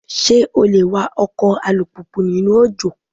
Ṣé o le wa ọkọ̀ alùpùpù nínú òjò?